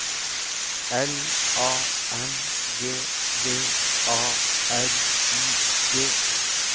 L A N G V A R I G